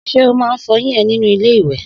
Sé o má n fọyín e nínú ilé ìwè?